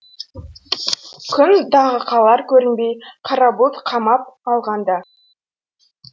күн дағы қалар көрінбей қара бұлт қамап алғанда